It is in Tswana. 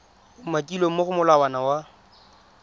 umakilweng mo go molawana wa